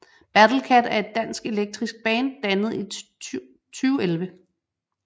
Battlekat er et dansk elektronisk band dannet i 2011